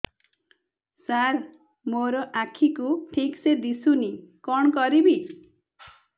ସାର ମୋର ଆଖି କୁ ଠିକସେ ଦିଶୁନି କଣ କରିବି